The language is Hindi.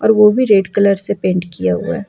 और वो भी रेड कलर से पेंट किया हुआ है।